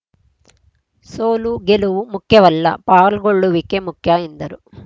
ಸೋಲು ಗೆಲುವು ಮುಖ್ಯವಲ್ಲ ಪಾಲ್ಗೊಳ್ಳುವಿಕೆ ಮುಖ್ಯ ಎಂದರು